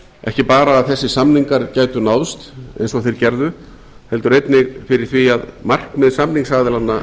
ekki bara að þessir samningar gætu náðst eins og þeir gerðu heldur einnig fyrir því að markmið samningsaðilanna